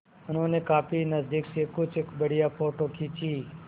उन्होंने काफी नज़दीक से कुछ बढ़िया फ़ोटो खींचे